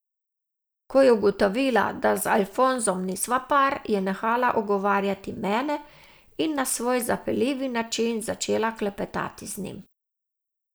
Ko je ugotovila, da z Alfonsom nisva par, je nehala ogovarjati mene in na svoj zapeljivi način začela klepetati z njim.